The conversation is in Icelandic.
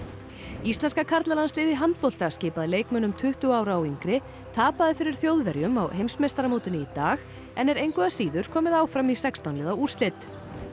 íslenska karlalandsliðið í handbolta skipað leikmönnum tuttugu ára og yngri tapaði fyrir Þjóðverjum á heimsmeistaramótinu í dag en er engu að síður komið áfram í sextán liða úrslit